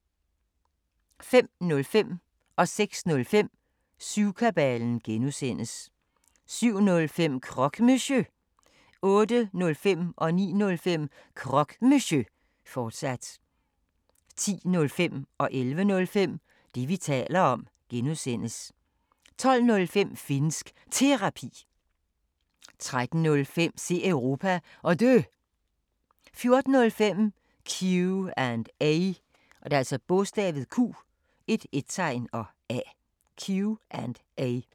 05:05: Syvkabalen (G) 06:05: Syvkabalen (G) 07:05: Croque Monsieur 08:05: Croque Monsieur, fortsat 09:05: Croque Monsieur, fortsat 10:05: Det, vi taler om (G) 11:05: Det, vi taler om (G) 12:05: Finnsk Terapi 13:05: Se Europa, og Dø 14:05: Q&A